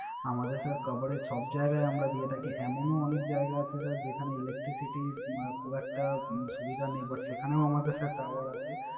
আমাদের Sir Coverage সব জায়গায় আমরা দিয়ে থাকি। এমনো এমন জায়গা আছে Sir যেখানে Electricity খুব একটা সুবিধা নেই But সেখানোও আমাদের Sir Tower আছে